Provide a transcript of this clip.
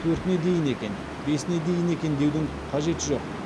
төртіне дейін екен бесіне дейін екен деудің қажеті жоқ